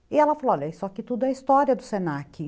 E ela falou, olha, isso aqui tudo é história do se na que